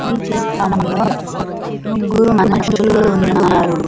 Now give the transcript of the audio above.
ఈ చిత్రం లో ముగ్గురు మనుషులు ఉన్నారు.